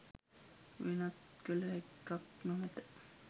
වෙනත් කළ හැක්කක් නොමැත.